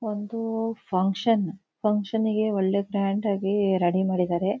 ಒಂದೂ function function ಗೆ ಒಳ್ಳೆ ಗ್ರಾಂಡ್ ಆಗೀ ರೆಡಿ ಮಾಡಿದಾರೆ.